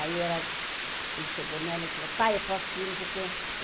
Aí ela, ele chegou nela e falou, pai, eu posso ir, não sei o que?